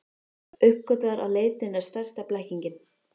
Uppgötvar að leitin er stærsta blekkingin.